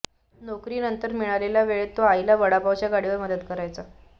नोकरीनंतर मिळालेल्या वेळेत तो आईला वडापावच्या गाडीवर मदत करायचा